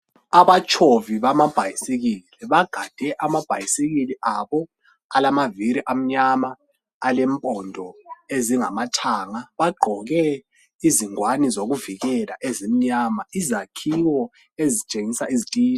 Abatshovi bamabhayisikili bagade amabhayisikili abo alamaviri amnyama alempondo ezingamathanga, bagqoke izingwane zokuvikela ezimnyama. Izakhiwo ezitshengisa izitina.